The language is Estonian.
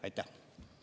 Aitäh!